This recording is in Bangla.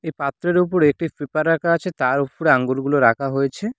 এ পাত্রের উপরে একটি পেপার রাখা আছে তার উপরে আঙ্গুরগুলো রাখা হয়েছে।